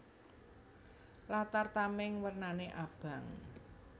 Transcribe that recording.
Latar tamèng wernané abang